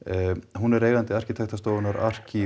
hún er eigandi arkitektastofunnar